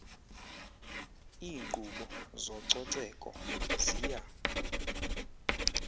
iinkqubo zococeko ziya